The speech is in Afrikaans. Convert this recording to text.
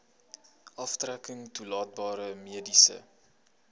aftrekking toelaatbare mediese